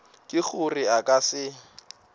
ke gore a ka se